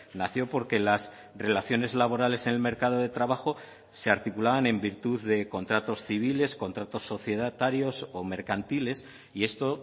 nació porque las relaciones laborales en el mercado de trabajo se articulaban en virtud de contratos civiles contratos societarios o mercantiles y esto